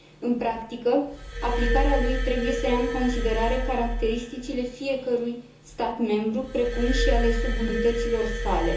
În practică, aplicarea lui trebuie să ia în considerare caracteristicile fiecărui stat membru, precum și ale subunităților sale.